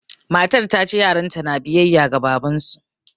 Matar ta ce yaranta na biyayya ga babansu